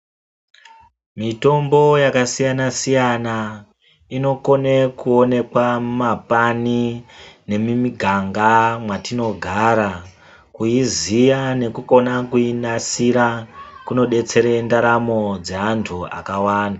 Mitombo yakasiyana siyana inokone kuonekwa mumapani nemiganga yatinogara mwatinogara ,kuiziya nekukone kuinasira kunodetsere ndaramo dzeantu akawanda.